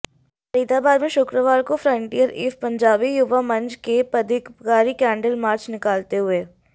फरीदाबाद में शुक्रवार को फ्रंटियर एवं पंजाबी युवा मंच के पदाधिकारी कैंडल मार्च निकालते हुए